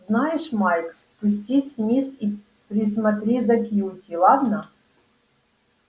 знаешь майк спустись вниз и присмотри за кьюти ладно